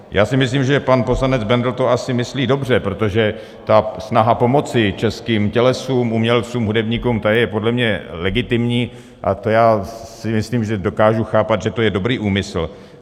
Já si myslím, že pan poslanec Bendl to asi myslí dobře, protože ta snaha pomoci českým tělesům, umělcům, hudebníkům, ta je podle mě legitimní a to já si myslím, že dokážu chápat, že to je dobrý úmysl.